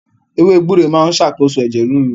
Ewé gbúre máa ń ṣàkóso ẹ̀jẹ̀ ríru